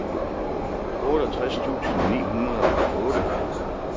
otteogtres tusind ni hundrede og otte